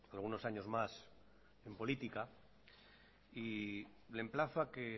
algunos años más en política y le emplazo a que